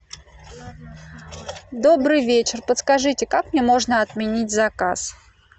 добрый вечер подскажите как мне можно отменить заказ